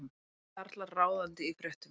Karlar ráðandi í fréttum